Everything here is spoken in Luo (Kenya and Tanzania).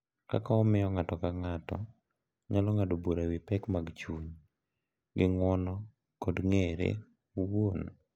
Kaka omiyo ng’ato ka ng’ato nyalo ng’ado bura e wi pek mag chuny gi ng’uono kod ng’ere owuon.